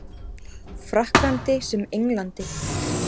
Frakklandi sem Englandi.